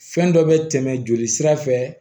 Fɛn dɔ bɛ tɛmɛ joli sira fɛ